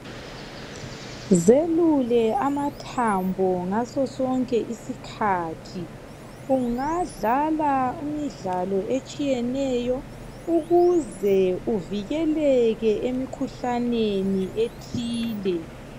Zelule amathambo ngaso sonke isikhathi. Ungadlala imidlalo etshiyeneyo ukuze uvikeleke emikhuhlaneni ethile.